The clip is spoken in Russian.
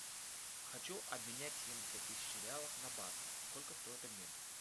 хочу обменять семьдесят тысяч реалов на баты сколько стоит обмен